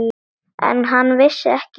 En hann vissi ekki hver.